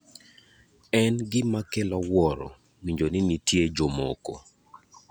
en gima kelo wuoro winjo ni nitie jomoko